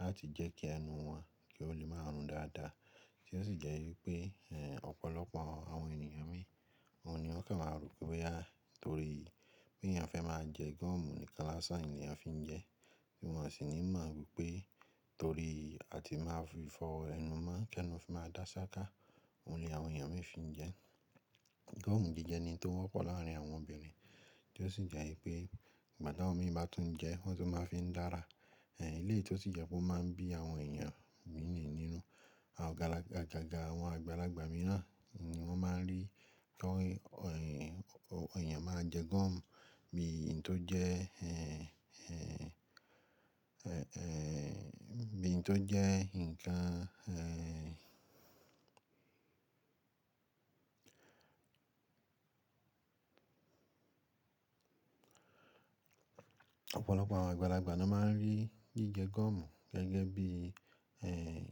láti jẹ́ kí ẹnu wọn kí ó lè máa rùn dáadáa, tí ó sì jẹ́ wípé ọ̀pọ̀lọpọ̀ àwọn ènìyàn mìíràn ni wọ́n kàn máa rò pé a, torí pé ayan fẹ́ máa jẹ gọ́ọ̀mù ni kan lásán ni a fi ń jẹ, bí wọ́n sì ní mọ̀ wípé torí a ti máa fi fọ ẹnu mọ́, kí ẹnu fi máa dá ṣááká, òun ni àwọn èèyàn mìíràn fi ń jẹ ẹ́. Gọ́ọ̀mù gígẹ ni tó wọ́pọ̀ láàrín àwọn obìnrin tí ó sì jẹ́ wípé igbati awon mi bá tún jẹ wọ́n tó máa fi ń dára, ehn, eléyìí tí ó sì jẹ́ pé ó máa ń bí àwọn èèyàn mìíràn nínú, agaga àwọn àgbàlagbà mìíràn ni wọ́n máa ń rí pé èèyàn máa jẹ gọ́ọ̀mù bí i ohun tó jẹ́, bí ohun tó jẹ́ ǹkan, Ọ̀pọ̀lọpọ̀ àwọn àgbàlagbà ni wọ́n máa ń rí jíjẹ gọ́ọ̀mù gẹ́gẹ́ bí,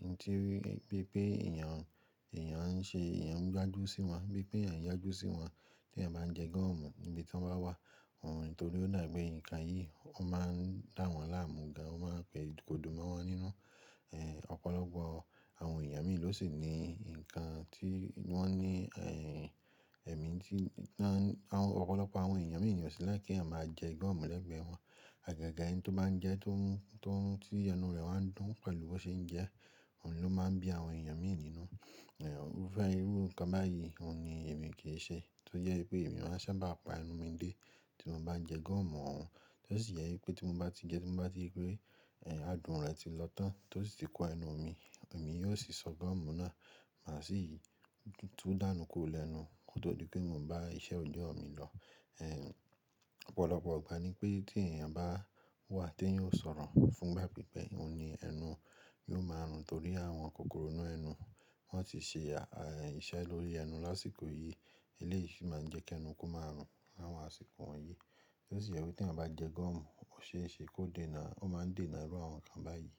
ohun tí, bí i pé èèyàn, èèyàn ń ṣe, èèyàn ń yágljú sí wọn, bí i pé èèyàn ń yágájú sí wọn tí èèyàn bá ń jẹ gọ́ọ̀mù níbi tí wọ́n bá wà, òun nítorí ó dà pé ǹkan yìí ó máa ń dá wọn láàmú ga, ó máa ń da pè kodù mọ́ wọn nínú. Ọ̀pọ̀lọpọ̀ àwọn èèyàn mìíràn ló sì ni ǹkan tí wọ́n ní, ẹ̀mí tí, ọ̀pọ̀lọpọ̀ àwọn èèyàn mìíràn nio sì like ki eyan máa jẹ gọ́ọ̀mù lẹ́gbẹ̀ẹ́ wọn. Àgaga ẹni tó bá ń jẹ tó ń, tí ẹnu rẹ̀ bá ń dùn pẹ̀lú bo ṣe ń jẹ, òun ló máa ń bí àwọn èèyàn mìíràn nínú. Irúfẹ́ irú kan báyìí òun ni èmi kì í ṣe tó jẹ́ wípé èmi máa ń sábà pa ẹnu mi dé tí mo bá ń jẹ gọ́ọ̀mù òun, tí ó sì jẹ́ wípé tí mo bá ti jẹ, tí mo bá ri pé, adùn rẹ̀ ti lọ tán tí ó sì ti kó ẹnu mi, èmi yóò sì sọ gọ́ọ̀mù náà má sì tú dànù kúrò lẹ́nu kí ó tó di pé mo bá iṣẹ́ ojú ọ̀ mi lọ. Ọ̀pọ̀lọpọ̀ ìgbà ni pé tí èèyàn bá wà tí eyan o sọ̀rọ̀ fún pipe òun ni ẹnu yóò máa rùn torí àwọn kòkòrò inú ẹnu wọ́n ti ṣe à, iṣẹ́ lórí ẹnu lásìkò yìí eléyìí sì máa ń jẹ́ kí ẹnu kó máa rùn láwọn àsìkò wọ̀nyí. Tí ó sì jẹ́ wípé tí à bá jẹ gọ́ọ̀mù ó ṣe é ṣe kó dé náà, ó máa ń dé náà irú àwọn ǹkan báyìí.